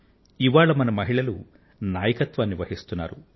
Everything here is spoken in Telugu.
ఇవాళ మన మహిళలు నాయకత్వాన్ని వహిస్తున్నారు